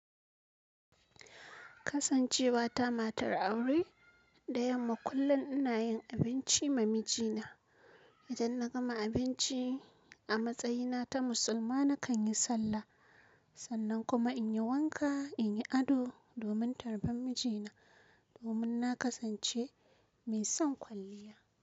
Kasancewa ta matar aure, da yamma kullum ina yin abinci ma mijina. Idan na gama abinci a matsayina ta musulma nakan yi sallah. Sannan kuma in yi wanka, in yi ado domin tarban mijina, domin na kasance mai son kwalliya.